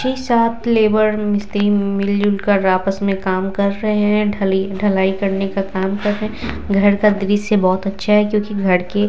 छे-सात labour मिस्त्री मिल जुल कर आपस में काम कर रहे है ढल ढलाई करने का काम कर रहे है घर का दृशय बोहोत अच्छा है क्युकी घर के--